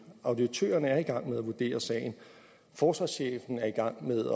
auditørerne er i gang med at vurdere sagen og forsvarschefen er i gang med